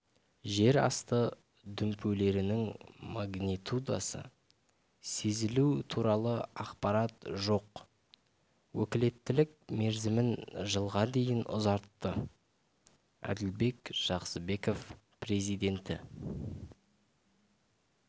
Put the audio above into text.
жер асты дүмпулерінің магнитудасы сезілу туралы ақпарат жоқ өкілеттілік мерзімін жылға дейін ұзартты әділбек жақсыбеков президенті